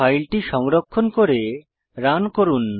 ফাইলটি সংরক্ষণ করে রান করুন